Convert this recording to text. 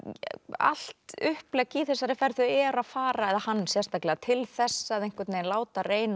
allt upplegg í þessari ferð þau eru að fara eða hann sérstaklega til þess að láta reyna